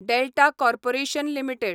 Delta Corporation limited